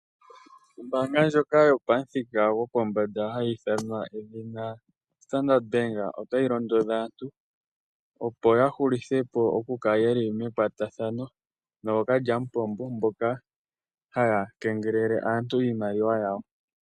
Ombaanga ndjoka yo pamuthika gopombanda hayi ithanwa edhina Standard Bank otayi londodha aantu opo ya hulithe po oku kala yeli mekwatathano nookalyampompo mboka haya kengelele aantu iimaliwa yawo.